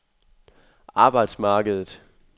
arbejdsmarkedet